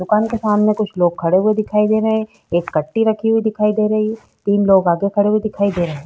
दुकान के सामने कुछ लोग खड़े हुए दिखाई दे रहे हैं। एक कट्टी रखी हुई दिखाई दे रही है। तीन लोग आगे में खड़े हुए दिखाई दे रहे हैं।